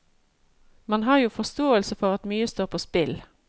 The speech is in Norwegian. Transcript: Man har jo forståelse for at mye står på spill.